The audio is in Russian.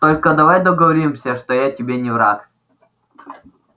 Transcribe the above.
только давай договоримся что я тебе не враг